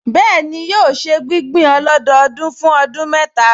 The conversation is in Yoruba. Bẹ́ẹ̀ni, yóò ṣe gbígbìn ọlọ́dọọdún fún ọdún mẹ́ta